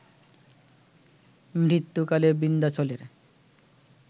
মৃত্যুকালে বিন্ধ্যাচলের